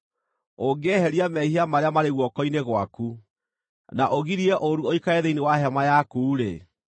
ũngĩeheria mehia marĩa marĩ guoko-inĩ gwaku, na ũgirie ũũru ũikare thĩinĩ wa hema yaku-rĩ,